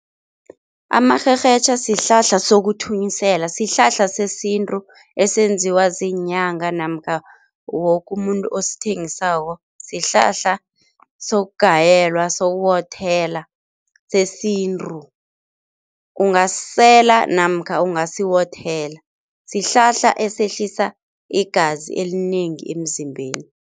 Amarherhetjha sihlahla sokuthunyisela, sihlahla sesintu esenziwa ziinyanga namkha woke umuntu osithengisako, sihlahla sokugayelwa, sokuwokuthela sesintu. Ungasisela namkha ungasiwothela, sihlahla esehlisa igazi elinengi emzimbeni.